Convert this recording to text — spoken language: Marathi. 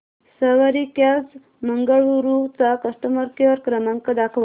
सवारी कॅब्झ बंगळुरू चा कस्टमर केअर क्रमांक दाखवा